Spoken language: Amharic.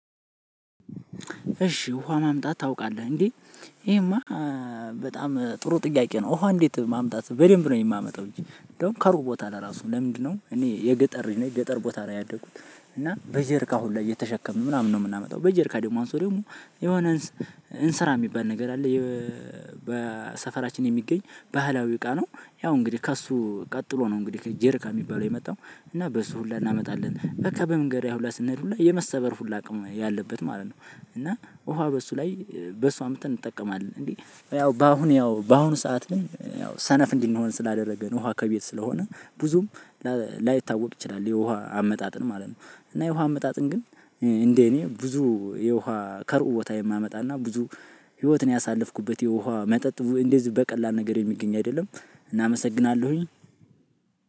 እሺ ውሃ ማምጣት ታውቃለህ እንዴ? ይሄማ በጣም ጥሩ ጥያቄ ነው። ውሃ እንዴት ማምጣት በደንብ ነው የማመጣው እንጂ እንደውም ከሩቅ ቦታ ለራሱ ለምንድነው? እኔ የገጠር ልጅ ነኝ ገጠር ቦታ ነው ያደኩት። እና በጀርካ ሁሉ እየተሸከምን ምናምን ነው የምናመጣው። በጀርካ ደግሞ አንሶ ደግሞ የሆነ እንስ እንስራ የሚባል ነገር አለ። የ በሰፈራችን የሚገኝ ባህላዊ እቃ ነው። ያው እንግዲህ ከእሱ ቀጥሎ ነው እንግዲህ ጀርካ የሚባለው የመጣው እና በሱ ሁላ እናመጣለን። በቃ በመንገድ ላይ ሁላ ስንሄድ ሁላ የመሰበር ሁላ አቅም ያለበት ማለት ነው። እና ውሃ በሱ ላይ በሱ አምጥተን እንጠቀማለን። እንዴ ያው በአሁን ያው በአሁኑ ሰዓት ላይ ያው ሰነፍ እንድንሆን ስላደረገን ውሃ ከቤት ስለሆነ ብዙም ላ ላይታወቅ ይችላል የውሃ አመጣጥን ማለት ነው። እና የውሃ አመጣጥን ግን እንደ እኔ ብዙ የውሃ ከሩቅ ቦታ የማመጣና ብዙ ህይወትን ያሳለፍኩበት የውሃ መጠጥ እንደዚህ በቀላል ነገር የሚገኝ አይደለም። እና አመሰግናለሁኝ።